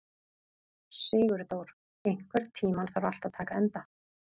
Sigurdór, einhvern tímann þarf allt að taka enda.